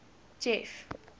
jeff